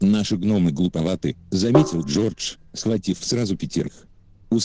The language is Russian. наши гномы глуповаты заметил джордж схватив сразу пятерых